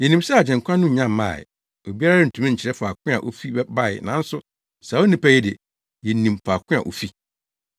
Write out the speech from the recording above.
Yenim sɛ Agyenkwa no nya ba a, obiara rentumi nkyerɛ faako a ofi bae nanso saa onipa yi de, yenim faako a ofi.”